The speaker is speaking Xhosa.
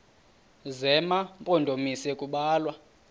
zema mpondomise kubalwa